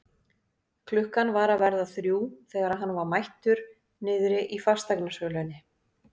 Klukkan var að verða þrjú þegar hann var mættur niðri í fasteignasölunni.